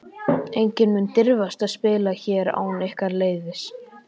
Enginn mun dirfast að spila hér án ykkar leyfis.